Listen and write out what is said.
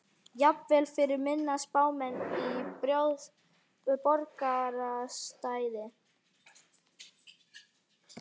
Jafnvel fyrir minni spámenn í borgarastétt.